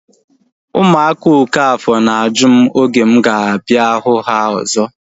Ụmụ okafor na-ajụ m oge mụ ga-abịa hụ ha ọzọ